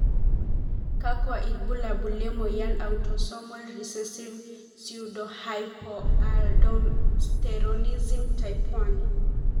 kakwa ilbulabul le moyian e Autosomal recessive pseudohypoaldosteronism type 1?